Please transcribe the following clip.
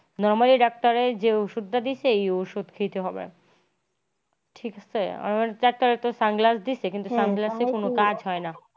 normally ডাক্তারের যে ওষুধ টা দিয়েছে এই ওষুধ খেতে হবে। ঠিক আছে আর ডাক্তারও তো sunglass দিইসে কিন্তু sunglass কোনো কাজ হয়না।